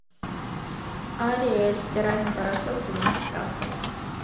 ариэль стиральный порошок двенадцать капсул